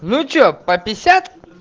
ну что по пятьдесят